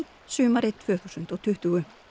sumarið tvö þúsund og tuttugu